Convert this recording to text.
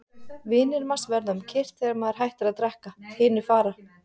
Vinir manns verða um kyrrt þegar maður hættir að drekka, hinir fara.